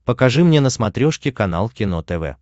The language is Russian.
покажи мне на смотрешке канал кино тв